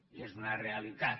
i és una realitat